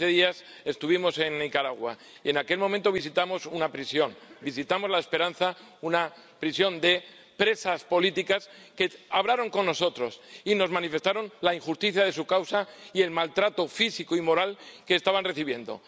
Hace quince días estuvimos en Nicaragua y en aquel momento visitamos una prisión. Visitamos La Esperanza, una prisión de presas políticas que hablaron con nosotros y nos manifestaron la injusticia de su causa y el maltrato físico y moral que estaban recibiendo.